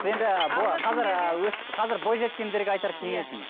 енді қазір ы қазір бойжеткендерге айтар кеңесіңіз